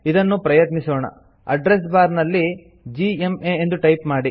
ಇದನ್ನು ಪ್ರಯತ್ನಿಸೋಣ address bar ನಲ್ಲಿ ಜಿಎಂಎ ಎಂದು ಟೈಪ್ ಮಾಡಿ